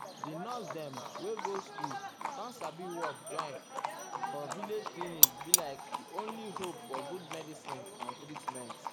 di nurse dem wey go school com sabi work join am for village clinic be like di only hope for good medicin and treatment.